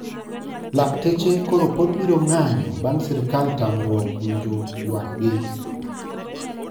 Lakteche koro pod biro ng`anyo bang sirkal tamruok winjo ywak gi